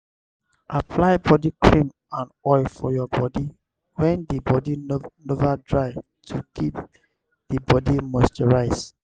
apply body cream and oil for your bodi when di bodi nova dry to keep di bodi moisturised